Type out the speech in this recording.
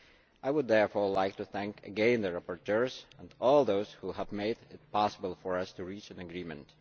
I would therefore like to thank once again the rapporteurs and all those who have made it possible for us to reach an agreement.